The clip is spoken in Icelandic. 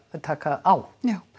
að taka á já